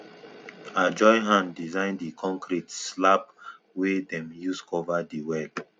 i join hand design di concrete slab wey dem use cover di well